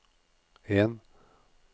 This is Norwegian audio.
en